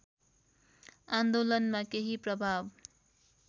आन्दोलनमा केही प्रभाव